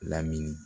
Lamini